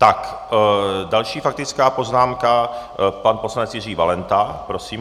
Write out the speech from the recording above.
Tak další faktická poznámka, pan poslanec Jiří Valenta, prosím.